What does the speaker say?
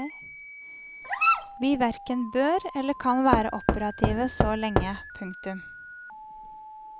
Vi hverken bør eller kan være operative så lenge. punktum